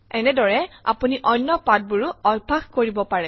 এনেদৰে আপুনি অন্য পাঠবোৰো অভ্যাস কৰিব পাৰে